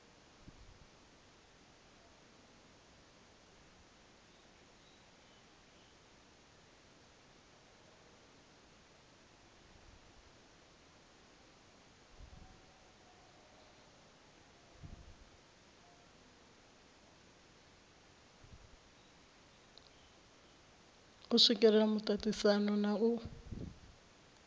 u swikelela muaisano na u